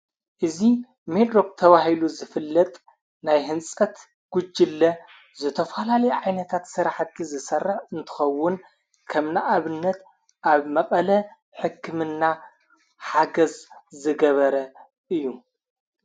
እዙ ኔድሮቕ ተዋሂሉ ዝፍልጥ ናይ ሕንጸት ጕጅለ ዘተፍላሊ ዓይነታት ሠራሕቲ ዝሠርሕ እንትኸውን ከኸምና ኣብነት ኣብ መቐለ ሕክምና ሓገዝ ዝገበረ እዩ።